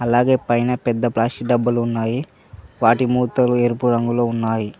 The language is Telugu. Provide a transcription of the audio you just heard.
అలాగే పైన పెద్ద ప్లాస్టిక్ డబ్బులు ఉన్నాయి వాటి మూతలు ఎరుపు రంగులో ఉన్నాయి.